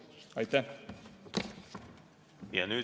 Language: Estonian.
Aitäh!